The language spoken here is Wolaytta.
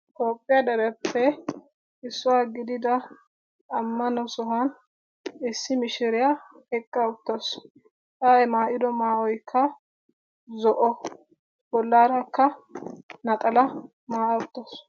Toophiya dereppe issuwa gidida sohuwan issi mishiriya eqqa uttasu. A maayido maayoykka zo'o bollarakka naxalaa maaya uttasu